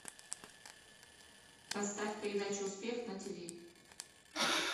поставь передачу успех на тв